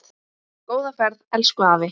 Góða ferð, elsku afi.